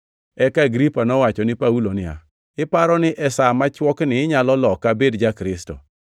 Eka Agripa nowacho ni Paulo niya, “Iparo ni e sa machwokni inyalo loka abed ja-Kristo?”